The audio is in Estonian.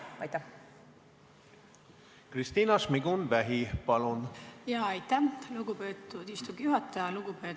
Aitäh, lugupeetud istungi juhataja!